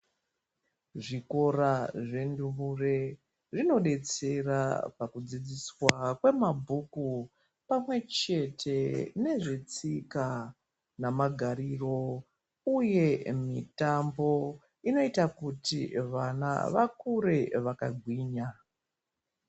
Zvikora zvendumure zvinodetsera pakudzidziswa kwemabhuku pamwechete nezvetsika namagariro uye mitambo inoita kuti vana vakure vakagwinya.